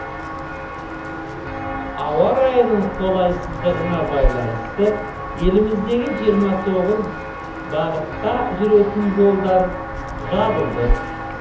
ауа райының қолайсыздығына байланысты еліміздегі жиырма тоғыз бағытқа жүретін жолдар жабылды